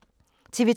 TV 2